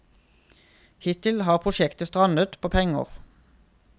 Hittil har prosjektet strandet på penger.